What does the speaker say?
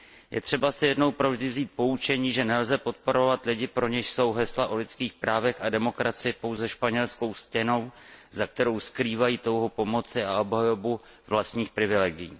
Je třeba si jednou provždy vzít poučení, že nelze podporovat lidi, pro něž jsou hesla o lidských právech a demokracii pouze španělskou stěnou, za kterou skrývají touhu po moci a obhajobu vlastních privilegií.